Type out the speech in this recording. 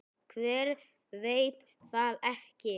Hver veit það ekki?